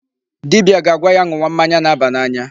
Dibia ga-agwa ya ṅụwa mmanya na-aba n'anya.